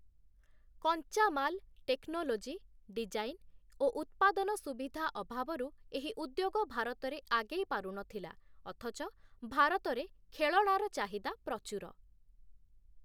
କଞ୍ଚାମାଲ୍, technology, design ଓ ଉତ୍ପାଦନ ସୁବିଧା ଅଭାବରୁ ଏହି ଉଦ୍ୟୋଗ ଭାରତରେ ଆଗେଇ ପାରୁ ନଥିଲା ଅଥଚ ଭାରତରେ ଖେଳଣାର ଚାହିଦା ପ୍ରଚୁର ।